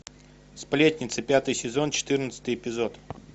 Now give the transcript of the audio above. сплетницы пятый сезон четырнадцатый эпизод